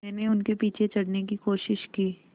मैंने उनके पीछे चढ़ने की कोशिश की